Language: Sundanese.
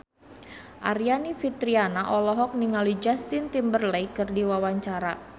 Aryani Fitriana olohok ningali Justin Timberlake keur diwawancara